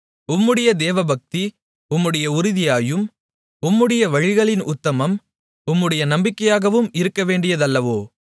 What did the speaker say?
உம்முடைய தேவபக்தி உம்முடைய உறுதியாயும் உம்முடைய வழிகளின் உத்தமம் உம்முடைய நம்பிக்கையாகவும் இருக்கவேண்டியதல்லவோ